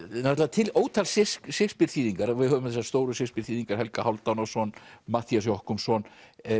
til ótal Shakespeare þýðingar og við höfum þessar stóru Shakespeare þýðingar Helga Hálfdánarson Matthías Jochumsson